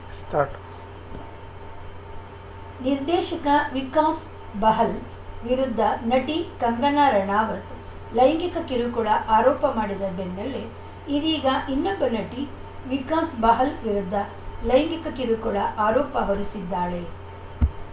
start ನಿರ್ದೇಶಕ ವಿಕಾಸ್‌ ಬಹಲ್‌ ವಿರುದ್ಧ ನಟಿ ಕಂಗನಾ ರಾಣಾವತ್‌ ಲೈಂಗಿಕ ಕಿರುಕುಳ ಆರೋಪ ಮಾಡಿದ ಬೆನ್ನಲ್ಲೇ ಇದೀಗ ಇನ್ನೊಬ್ಬ ನಟಿ ವಿಕಾಸ್‌ ಬಹಲ್‌ ವಿರುದ್ಧ ಲೈಂಗಿಕ ಕಿರುಕುಳ ಆರೋಪ ಹೊರಿಸಿದ್ದಾಳೆ